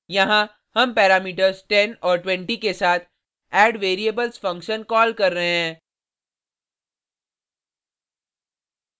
यहाँ हम पैरामीटर्स 10 और 20 के साथ addvariables फंक्शन कॉल कर रहे हैं